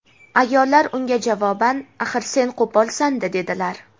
Ayollar unga javoban: "Axir sen qo‘polsan-da", dedilar.